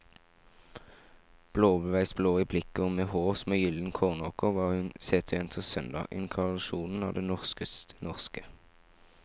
Blåveisblå i blikket og med hår som en gylden kornåker var hun seterjentens søndag, inkarnasjonen av det norskeste norske.